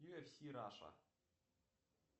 юэфси раша